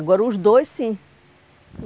Agora, os dois, sim.